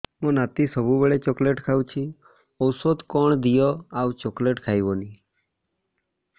ମୋ ନାତି ସବୁବେଳେ ଚକଲେଟ ଖାଉଛି ଔଷଧ କଣ ଦିଅ ଆଉ ଚକଲେଟ ଖାଇବନି